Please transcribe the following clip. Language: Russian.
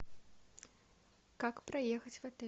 как проехать в отель